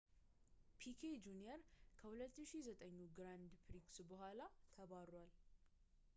ፒኬ ጁንየር ከ2009ኙ ግራንድ ፕሪክስ በኋላ ተባሯል